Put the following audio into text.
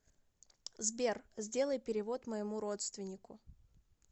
сбер сделай перевод моему родственнику